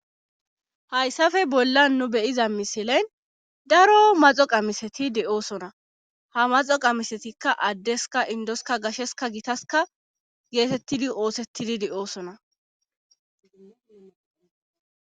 hayssafe bolla nu beyiza misilen daro maxo qamiseti de7osona ha maxo qamisetikka addeska indoska gasheska gitaska geetettidi oosettidi de7oosona